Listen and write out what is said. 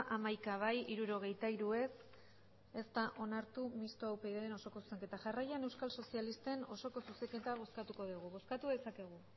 hamaika bai hirurogeita hiru ez ez da onartu mistoa upydren osoko zuzenketa jarraian euskal sozialisten osoko zuzenketa bozkatuko dugu bozkatu dezakegu